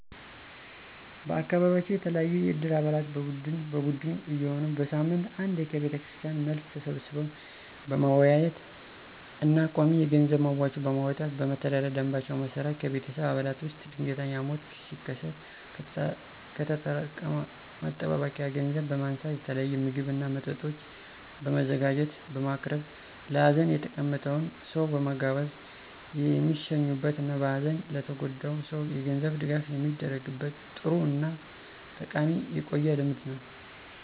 በአካቢያችን የተለያዩ የእድር አባላት በቡድን በቡድን እየሆኑ በሳምንት አንዴ ከቤተክርስቲያን መልስ ተሰባስበው በመወያየት እና ቋሚ የገንዘብ መዋጮ በማዋጣት በመተዳደሪያ ደምባቸው መሰረት ከቤተሰብ አባላት ውስጥ ድንገተኛ ሞት ሲከሰት ከተጠራቀመ መጠባበቂያ ገንዘብ በማንሳት የተለያየ ምግብ እና መጠጦች በማዘጋጀት (በማቅረብ) ለሀዘን የተቀመጠውን ሰው በመጋበዝ የሚሸኙበት እና በሀዘን ለተጎዳው ሰው የገንዘብ ድጋፍ የሚደረግበት ጥሩ እና ጠቃሚ የቆየ ልምድ ነው።